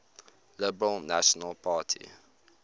liberal national party